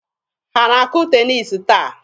Ha na-akụ teniisi taa?